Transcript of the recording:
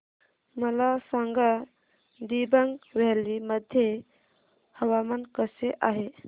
मला सांगा दिबांग व्हॅली मध्ये हवामान कसे आहे